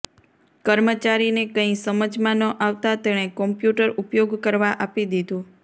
કર્મચારીને કંઇ સમજમાં ન આવતાં તેણે કોમ્પ્યુટર ઉપયોગ કરવા આપી દીધું